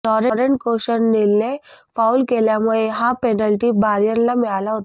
Laurent कोशनलीने foul केल्यामुळे हा पेनल्टी बायर्नला मिळाला होता